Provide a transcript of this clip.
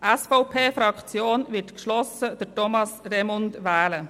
Die SVP-Fraktion wird geschlossen Thomas Remund wählen.